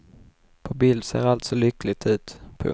På bild ser allt så lyckligt ut. punkt